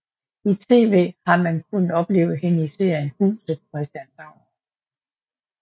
I tv har man kunnet opleve hende i serien Huset på Christianshavn